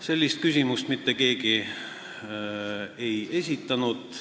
Sellist küsimust mitte keegi ei esitanud.